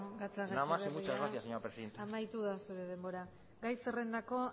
gatzagaetxebarria nada más y muchas gracias señora presidenta amaitu da zure denbora gai zerrendako